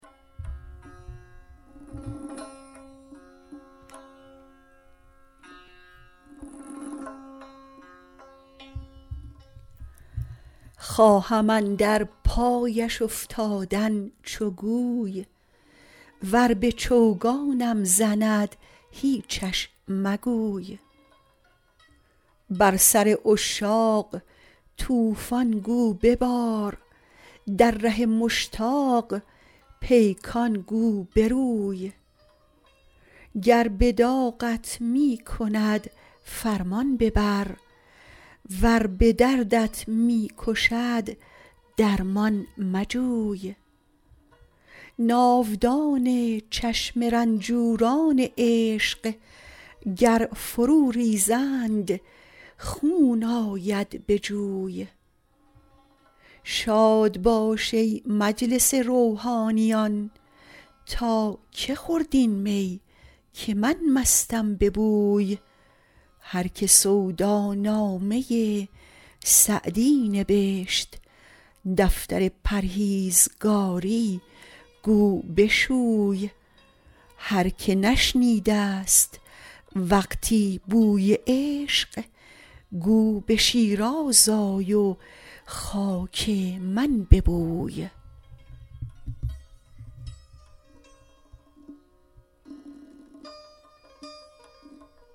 خواهم اندر پایش افتادن چو گوی ور به چوگانم زند هیچش مگوی بر سر عشاق طوفان گو ببار در ره مشتاق پیکان گو بروی گر به داغت می کند فرمان ببر ور به دردت می کشد درمان مجوی ناودان چشم رنجوران عشق گر فرو ریزند خون آید به جوی شاد باش ای مجلس روحانیان تا که خورد این می که من مستم به بوی هر که سودا نامه سعدی نبشت دفتر پرهیزگاری گو بشوی هر که نشنیده ست وقتی بوی عشق گو به شیراز آی و خاک من ببوی